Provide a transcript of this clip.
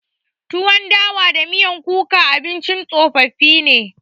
Tuwon dawa da miyan kuka abincin tsofaffi ne.